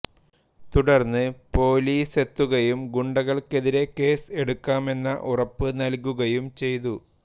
തുടർന്ന് പോലീസെത്തുകയും ഗുണ്ടകൾക്കെതിരേ കേസ് എടുക്കാമെന്ന ഉറപ്പു നൽകുകയും ചെയ്തു